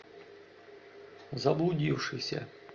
заблудившийся